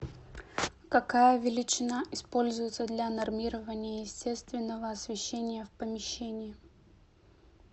какая величина используется для нормирования естественного освещения в помещении